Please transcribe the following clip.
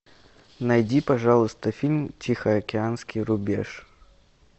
найди пожалуйста фильм тихоокеанский рубеж